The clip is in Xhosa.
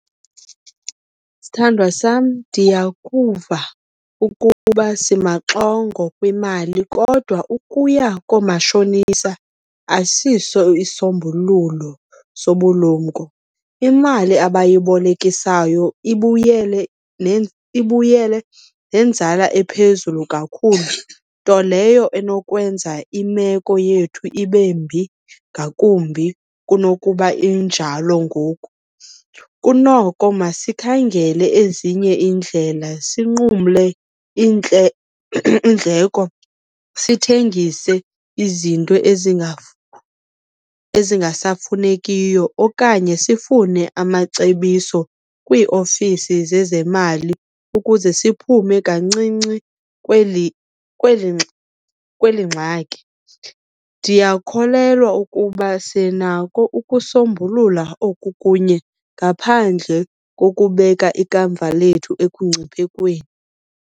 Sthandwa sam, ndiyakuva ukuba simaxongo kwimali kodwa ukuya koomatshonisa asiso isisombululo sobulumko. Imali abayibolekisayo ibuyele , ibuyele nenzala ephezulu kakhulu, nto leyo enokwenza imeko yethu ibe mbi ngakumbi kunokuba injalo ngoku. Kunoko masikhangele ezinye iindlela, sinqumle iindleko, sithengise izinto ezingasafunekiyo, okanye sifune amacebiso kwiiofisi zezemali ukuze siphume kancinci kweli, kweli ngxaki. Ndiyakholelwa ukuba sinako ukusombulula oku kunye ngaphandle kokubeka ikamva lethu ekungciphekweni.